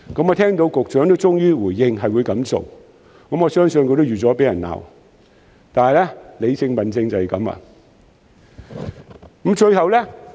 我聽到局長終於回應會這樣做，我相信他已料到會被市民責罵，但理性問政就是這樣。